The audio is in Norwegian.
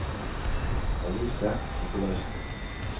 Alice Nikolaisen